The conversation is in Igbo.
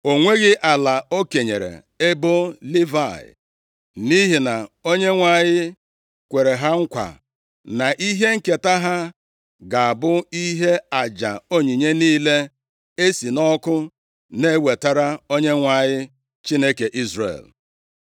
O nweghị ala o kenyere ebo Livayị. Nʼihi na Onyenwe anyị kwere ha nkwa na ihe nketa ha ga-abụ ihe aja onyinye niile e si nʼọkụ na-ewetara Onyenwe anyị Chineke Izrel.